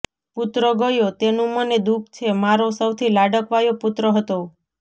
પુત્ર ગયો તેનું મને દુઃખ છે મારો સૌથી લાડકવાયો પુત્ર હતો